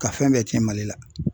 Ka fɛn bɛɛ cɛn Mali la.